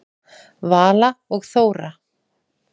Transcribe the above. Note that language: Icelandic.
Vala og Þóra.